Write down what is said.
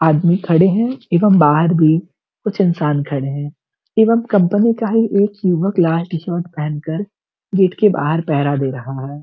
आदमी खड़े हैं एवं बाहर भी कुछ इंसान खड़े हैं एवं कंपनी का ही एक युवक लाल टी-शर्ट पहनकर गेट के बाहर पहरा दे रहा है।